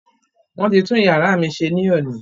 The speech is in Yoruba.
Wọ́n ti tún iyàrá mí ṣe ní òní.